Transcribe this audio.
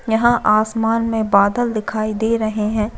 यहाँ आसमान में बादल दिखाई दे रहे है।